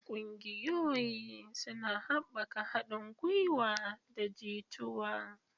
Ƙungiyoyi suna haɓaka haɗin gwiwa da jituwa.